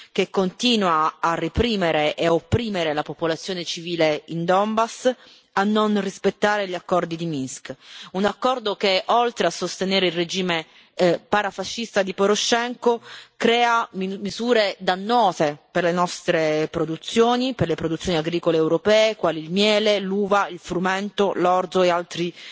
che continua a reprimere e a opprimere la popolazione civile in Donbas, a non rispettare gli accordi di Minsk. Si tratta di un accordo che, oltre a sostenere il regime parafascista di Porošenko, crea misure dannose per le nostre produzioni, per le produzioni agricole europee quali il miele, l'uva, il frumento, l'orzo e altri